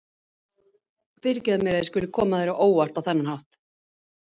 Fyrirgefðu mér að ég skuli koma þér á óvart á þennan hátt.